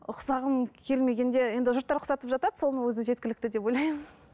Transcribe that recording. ұқсағым келмегенде енді жұрттар ұқсатып жатады соны өзі жеткілікті деп ойламын